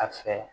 A fɛ